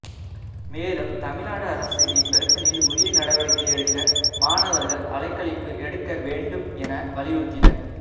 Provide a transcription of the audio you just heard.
மேலும் தமிழக அரசு இப்பிரச்னையில் உரிய நடவடிக்கை எடுக்க மாணவர்கள் அலைக்கழிப்பு எடுக்க வேண்டும் என வலியுறுத்தினர்